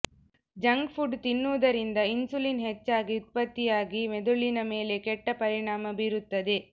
junk food ತಿನ್ನುವುದರಿಂದ insulin ಹೆಚ್ಚಾಗಿ ಉತ್ಪತ್ತಿಯಾಗಿ ಮೆದುಳಿನ ಮೇಲೆ ಕೆಟ್ಟ ಪರಿಣಾಮ ಬೀರುತ್ತದೆ